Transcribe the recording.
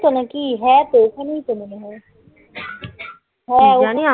হ্যাঁ তো ওখানেই তো মনে হয়. হ্যাঁ